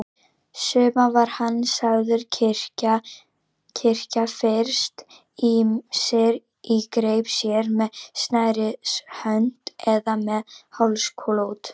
Suma var hann sagður kyrkja fyrst, ýmist í greip sér, með snærishönk eða með hálsklút.